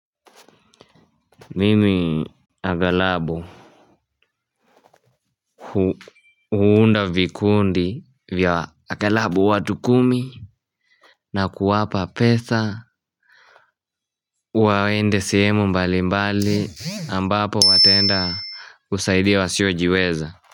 Mimi agalabu huunda vikundi vya agalabu watu kumi na kuwapa pesa. Waende sehemu mbali mbali ambapo wataenda kusaidia wasiojiweza.